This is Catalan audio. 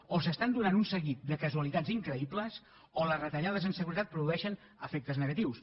o es donen un seguit de casualitats increïbles o les retallades en seguretat produeixen efectes negatius